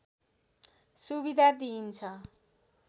सुविधा दिइन्छ